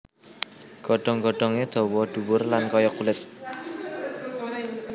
Godhong godhongé dawa dhuwur lan kaya kulit